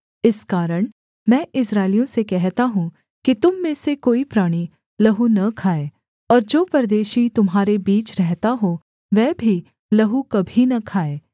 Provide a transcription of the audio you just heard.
इस कारण मैं इस्राएलियों से कहता हूँ कि तुम में से कोई प्राणी लहू न खाए और जो परदेशी तुम्हारे बीच रहता हो वह भी लहू कभी न खाए